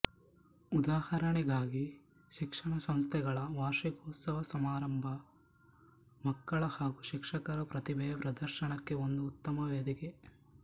ಉದಾಹರಣೆಗಾಗಿ ಶಿಕ್ಷಣ ಸಂಸ್ಥೆಗಳ ವಾರ್ಷಿಕೋತ್ಸವ ಸಮಾರಂಭ ಮಕ್ಕಳ ಹಾಗೂ ಶಿಕ್ಷಕರ ಪ್ರತಿಭೆಯ ಪ್ರದರ್ಶನಕ್ಕೆ ಒಂದು ಉತ್ತಮ ವೇದಿಕೆ